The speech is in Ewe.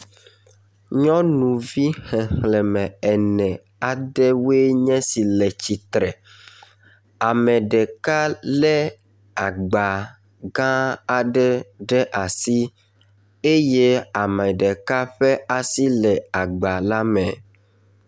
Nyɔnuvi xexlẽme ene aɖewoe nye si le tsitre. Ame ɖeka lé agba gã aɖe ɖe asi eye ame ɖeka ƒe asi le agba la me.